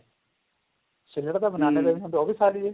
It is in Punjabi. ਛਿੱਲੜ ਤਾਂ banana ਦਾ ਵੀ ਹੁੰਦਾ ਉਹ ਵੀ ਖਾ ਲਈਏ